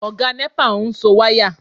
Ọ̀gá nẹ́pà ń so wáyà